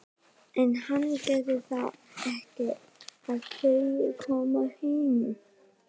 En hann gerir það ekki og þau koma heim.